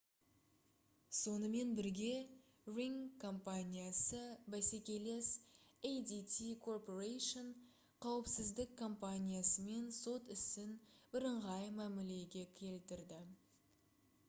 сонымен бірге ring компаниясы бәсекелес adt corporation қауіпсіздік компаниясымен сот ісін бііңғай мәмілеге келтірді